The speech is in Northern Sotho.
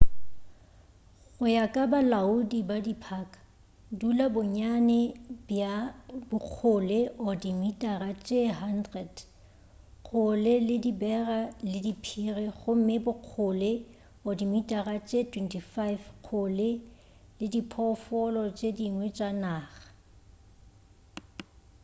go ya ka balaodi ba diphaka dula bonnyane bja bokgole/dimitara tše 100 kgole le dibera le diphiri gomme bokgole/dimitara tše 25 kgole le diphoofolo tše dingwe tša naga!